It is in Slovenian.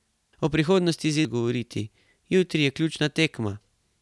O prihodnosti Zidane noče govoriti: "Jutri je ključna tekma.